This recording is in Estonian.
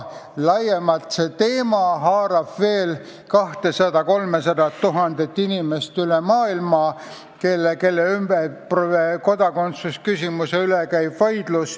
Laiemalt haarab see teema veel 200 000 – 300 000 inimest üle maailma, kelle kodakondsuse üle käib vaidlus.